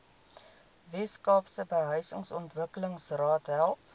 weskaapse behuisingsontwikkelingsraad help